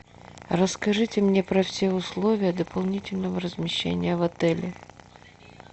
расскажите мне про все условия дополнительного размещения в отеле